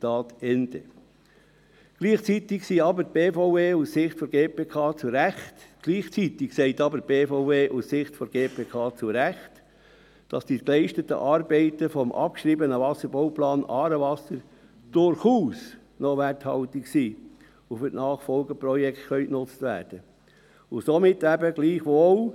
Gleichzeitig sagt aber die BVE – aus Sicht der GPK zu Recht –, dass die geleisteten Arbeiten des abgeschriebenen Wasserbauplans «Aarewasser» durchaus noch werthaltig sind und für die Nachfolgeprojekte genutzt werden können.